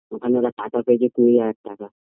ওখানে ওরা টাকা পেয়েছে কুড়ি হাজার টাকা